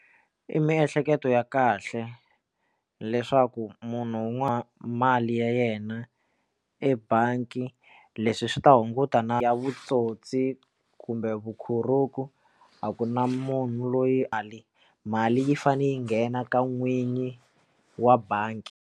I miehleketo ya kahle leswaku munhu un'wana mali ya yena ebangi leswi swi ta hunguta na ya vutsotsi kumbe vukhorhoku a ku na munhu loyi a le mali yi fane yi nghena ka n'wini wa bangi.